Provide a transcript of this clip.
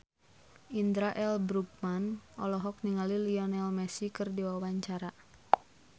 Indra L. Bruggman olohok ningali Lionel Messi keur diwawancara